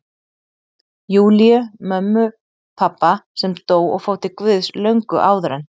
Júlíu, mömmu pabba, sem dó og fór til Guðs löngu áður en